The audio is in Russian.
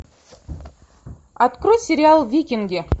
открой сериал викинги